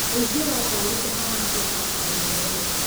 ũingĩ wa ngari ũhaana atĩa bara bara-inĩ nene